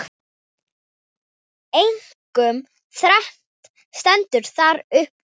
Einkum þrennt stendur þar uppúr.